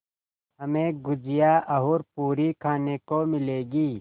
हमें गुझिया और पूरी खाने को मिलेंगी